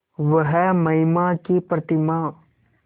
वह महिमा की प्रतिमा